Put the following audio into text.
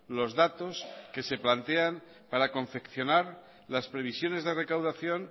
los datos que se plantean para confeccionar las previsiones de recaudación